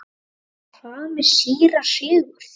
En hvað með síra Sigurð?